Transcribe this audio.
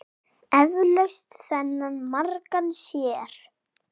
Eflaust þennan margur sér.